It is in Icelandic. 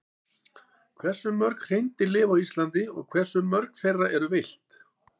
Hversu mörg hreindýr lifa á Íslandi og hversu mörg þeirra eru villt?